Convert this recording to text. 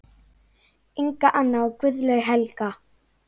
Inga Anna og Guðlaug Helga.